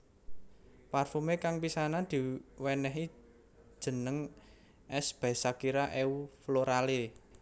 Parfumé kang pisanan diwenehi jeneng S by Shakira Eau Florale